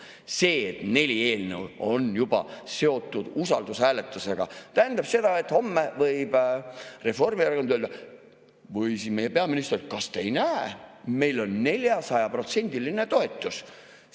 See, et neli eelnõu on juba seotud usaldushääletusega, tähendab seda, et homme võib Reformierakond või meie peaminister öelda: kas te ei näe, meil on 400%‑line toetus?